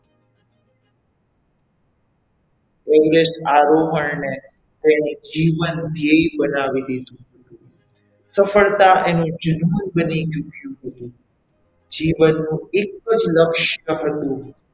Everest આરોહણને તેનું જીવનધેય્ય બનાવી દીધું હતું સફળતા એનું જીવન બની ચૂક્યું હતું. જીવનનું એક જ લક્ષ્ય હતું.